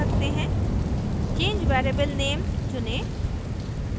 change variable name चुनें